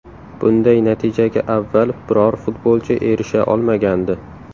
Bunday natijaga avval biror futbolchi erisha olmagandi .